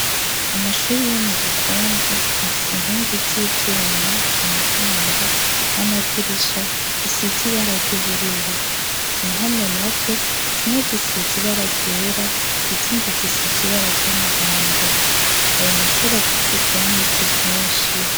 Amashure yo mugikungu afise inkingi z'ivyuma, imiryango n'amadirisha bisize ibara ry'ubururu, impome nazo zimwe zisize ibara ryera izindi zisize ibara ry'umuhondo, ayo mashure akikijwe n'ibiti vyinshi.